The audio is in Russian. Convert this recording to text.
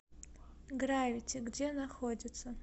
гравити где находится